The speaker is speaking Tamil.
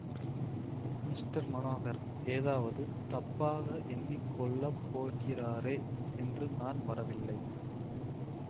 மிஸ்டர் மனோகர் ஏதாவது தப்பாக எண்ணி கொள்ள போகிறாரே என்று நான் வரவில்லை